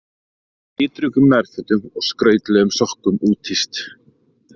Litríkum nærfötum og skrautlegum sokkum úthýst